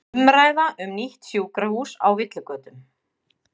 Umræða um nýtt sjúkrahús á villigötum